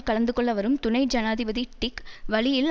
கலந்து கொள்ள வரும் துணை ஜனாதிபதி டிக் வழியில்